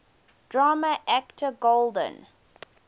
drama actor golden